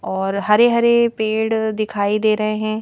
और हरे हरे पेड़ दिखाई दे रहे हैं।